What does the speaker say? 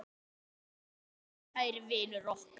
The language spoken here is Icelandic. HINSTA KVEÐJA Kæri vinur okkar.